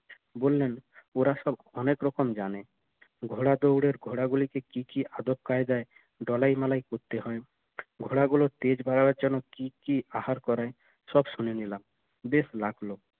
বললেন ওরা সব অনেক রকম জানে ঘোড়া দৌড়ের ঘোড়া গুলি তে কি কি আদব কায়দায় দলাই মলাই করতে হয় ঘোড়াগুলার তেজ বাড়ানোর জন্য কি কি আহার করে সব শুনে নিলাম বেশ লাগলো